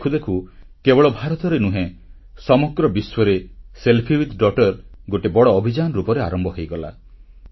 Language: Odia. ଦେଖୁ ଦେଖୁ କେବଳ ଭାରତରେ ନୁହେଁ ସମଗ୍ର ବିଶ୍ୱରେ ଝିଅ ସହିତ ସେଲ୍ଫି ଗୋଟିଏ ବଡ଼ ଅଭିଯାନ ରୂପରେ ଆରମ୍ଭ ହୋଇଗଲା